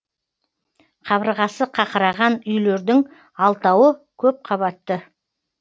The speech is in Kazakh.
қабырғасы қақыраған үйлердің алтауы көп қабатты